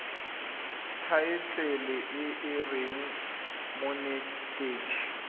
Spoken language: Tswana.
thaetlele e e reng monetetshi